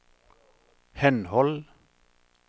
henhold